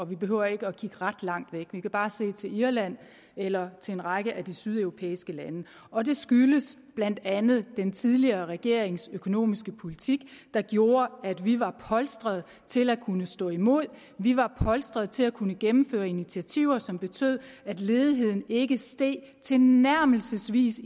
vi behøver ikke at kigge ret langt væk vi kan bare se til irland eller til en række af de sydeuropæiske lande og det skyldes blandt andet den tidligere regerings økonomiske politik der gjorde at vi var polstret til at kunne stå imod at vi var polstret til at kunne gennemføre initiativer som betød at ledigheden ikke steg tilnærmelsesvis